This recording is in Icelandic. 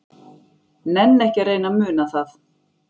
Nenni ekki að reyna að muna það.